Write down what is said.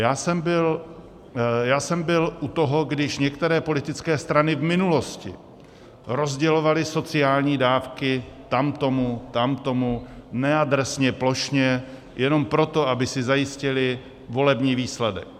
Já jsem byl u toho, když některé politické strany v minulosti rozdělovaly sociální dávky tamtomu, tamtomu, neadresně, plošně, jenom proto, aby si zajistily volební výsledek.